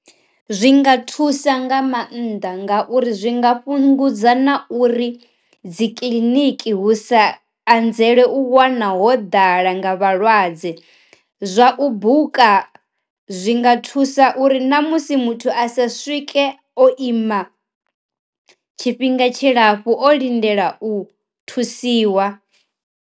Zwi nga thusa nga mannḓa ngauri zwi nga fhungudza na uri dzi kiḽiniki hu sa anzela u wana ho ḓala nga vhalwadze, zwa u buka zwi nga thusa uri na musi muthu a sa swike o ima tshifhinga tshilapfhu o lindela u thusiwa.